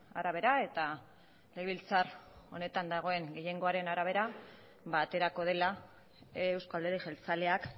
arabera eta legebiltzar honetan dagoen gehiengoaren arabera ba aterako dela eusko alderdi jeltzaleak